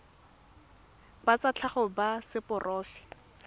ba tsa tlhago ba seporofe